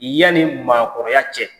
Yani maakɔrɔya cɛ.